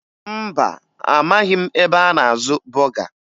Mba, amaghị m ebe a na-azụ bọga